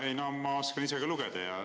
Ei, no ma oskan ise ka lugeda.